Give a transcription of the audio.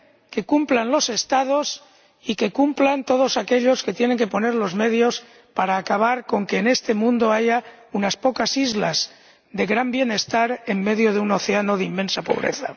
¡Que cumplan los Estados y cumplan todos aquellos que tienen que poner los medios para acabar con que en este mundo haya unas pocas islas de gran bienestar en medio de un océano de inmensa pobreza!